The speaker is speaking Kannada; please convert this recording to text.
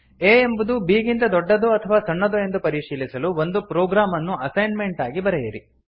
a ಎಂಬುದು b ಗಿಂತ ದೊಡ್ಡದೋ ಅಥವಾ ಸಣ್ಣದೋ ಎಂದು ಪರಿಶೀಲಿಸಲು ಒಂದು ಪ್ರೊಗ್ರಾಮ್ ಅನ್ನು ಅಸೈನ್ಮೆಂಟ್ ಆಗಿ ಬರೆಯಿರಿ